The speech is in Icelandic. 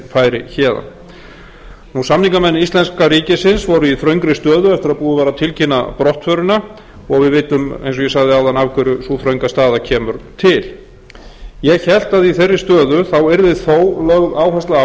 í hug að herinn færi héðan samningamenn íslenska ríkisins voru í þröngri stöðu eftir að búið var að tilkynna brottförina og við vitum eins og ég sagði áðan af hverju sú þrönga staða kemur til ég hélt að í þeirri stöðu yrði þó lögð áhersla á að